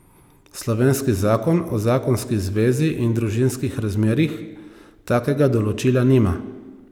Slovenski Zakon o zakonski zvezi in družinskih razmerjih takega določila nima.